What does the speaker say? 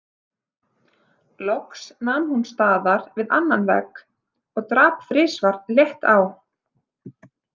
Loks nam hún staðar við annan vegg og drap þrisvar létt á.